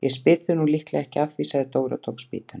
Ég spyr þig nú líklega ekki að því sagði Dóri og tók spýtuna.